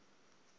isilimela